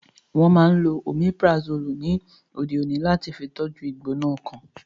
Wọ́n máa n lo Omeprazole ni òde òní láti fi tọ́jú u ìgbóná ọkàn